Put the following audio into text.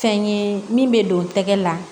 Fɛn ye min bɛ don tɛgɛ la